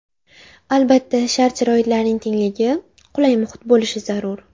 Albatta, shart-sharoitlarning tengligi, qulay muhit bo‘lishi zarur.